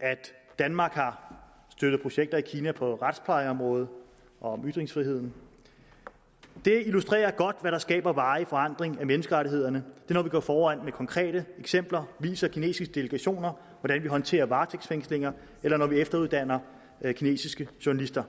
at danmark har støttet projekter i kina på retsplejeområdet og om ytringsfriheden det illustrerer godt hvad der skaber varig forandring af menneskerettighederne når vi går foran med konkrete eksempler og viser kinesiske delegationer hvordan vi håndterer varetægtsfængslinger eller når vi efteruddanner kinesiske journalister